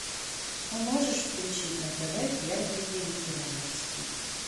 можешь включить на тв первый вегетарианский